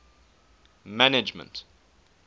management